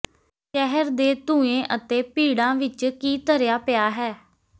ਸ਼ਹਿਰ ਦੇ ਧੂੰਏਂ ਅਤੇ ਭੀੜਾਂ ਵਿਚ ਕੀ ਧਰਿਆ ਪਿਆ ਹੈ